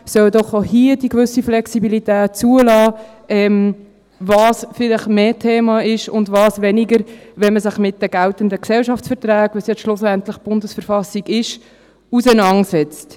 Sie sollen doch auch hier eine gewisse Flexibilität zulassen, was vielleicht mehr Thema ist und was weniger, wenn man sich mit den geltenden Gesellschaftsverträgen – was die BV schlussendlich ist – auseinandersetzt.